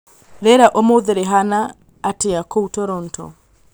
rīera rīa ūmūthi rīhana atīa kūu Toronto